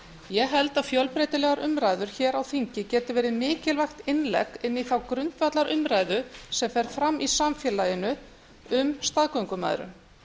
ég held að fjölbreytilegar umræður hér á þingi geti verið mikilvægt innlegg inn í þá grundvallarumræðu sem fer fram í samfélaginu um staðgöngumæðrun